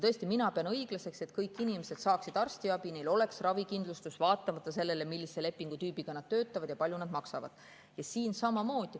Tõesti, mina pean õiglaseks, et kõik inimesed saaksid arstiabi, et neil oleks ravikindlustus, vaatamata sellele, millise lepingutüübi alusel nad töötavad ja kui palju nad maksavad.